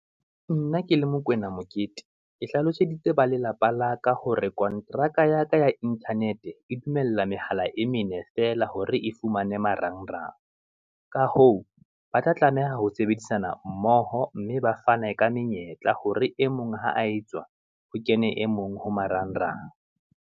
Nna ke le Mokoena Mokete, ke hlaloseditse ba lelapa la ka, hore kontraka ya ka ya Internet-e dumella mehala e mene feela, hore e fumane marang rang. Ka hoo, ba tla tlameha ho sebedisana mmoho, mme ba fane ka menyetla hore e mong ha a etswa, ho kene e mong ho marang rang.